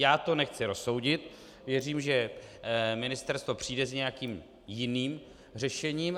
Já to nechci rozsoudit, věřím, že ministerstvo přijde s nějakým jiným řešením.